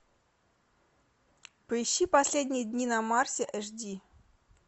поищи последние дни на марсе эш ди